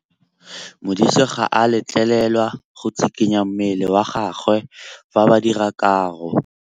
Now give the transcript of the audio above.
Modise ga a letlelelwa go tshikinya mmele wa gagwe fa ba dira karô.